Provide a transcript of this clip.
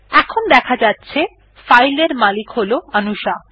এখন দেখা যাচ্ছে ফাইল এর মালিক হল অনুশা